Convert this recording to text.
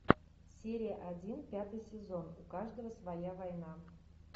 серия один пятый сезон у каждого своя война